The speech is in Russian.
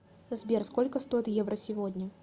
сбер сколько стоит евро сегодня